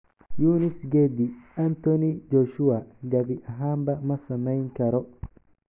Yunis gedi: Anthony Joshua gabi ahaanba ma samayn karo